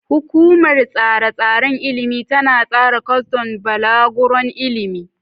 Hukumar Tsare-tsaren Ilimi tana tsara kwas don balaguron ilimi.